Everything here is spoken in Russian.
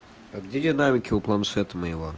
а где динамики у планшета моего